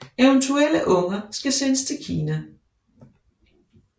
Eventuelle unger skal sendes til Kina